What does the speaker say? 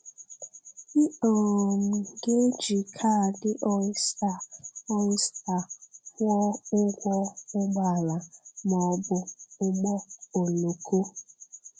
Ị um ga-eji kaadị Ọ̀ystèr Ọ̀ystèr kwụọ ụgwọ ụgbọala ma ọ bụ ụgbọoloko.